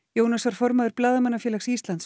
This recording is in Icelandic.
Jónas var formaður Blaðamannafélags